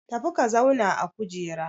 Tafi ka zauna a kujera!